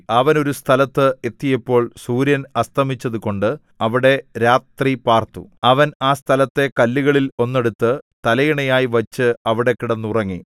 അവൻ ഒരു സ്ഥലത്ത് എത്തിയപ്പോൾ സൂര്യൻ അസ്തമിച്ചതു കൊണ്ട് അവിടെ രാത്രിപാർത്തു അവൻ ആ സ്ഥലത്തെ കല്ലുകളിൽ ഒന്നെടുത്ത് തലയണയായി വച്ച് അവിടെ കിടന്നുറങ്ങി